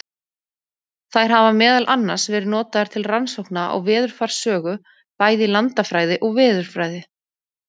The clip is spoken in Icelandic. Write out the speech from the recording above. Þær hafa meðal annars verið notaðar til rannsókna á veðurfarssögu, bæði í landafræði og veðurfræði.